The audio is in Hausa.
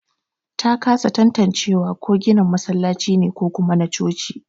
Ta kasa tanatacewa ko ginin masallaci ne ko kuma na coci.